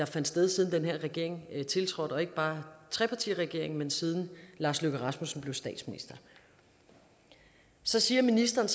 sted siden den her regering tiltrådte og ikke bare tre partiregeringen men siden lars løkke rasmussen blev statsminister så siger ministeren